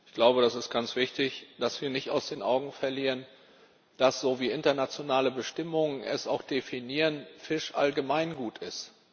Ich glaube es ist ganz wichtig, dass wir nicht aus den Augen verlieren, dass wie internationale Bestimmungen es auch definieren Fisch Allgemeingut ist.